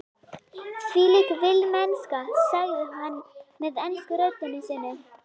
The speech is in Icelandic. Þvílík villimennska, sagði hann með ensku röddinni sinni.